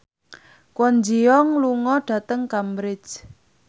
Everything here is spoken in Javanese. Kwon Ji Yong lunga dhateng Cambridge